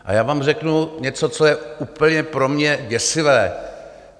A já vám řeknu něco, co je úplně pro mě děsivé.